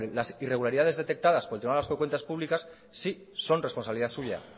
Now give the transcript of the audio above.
las irregularidades detectadas por el tribunal vasco de cuentas públicas sí son responsabilidad suya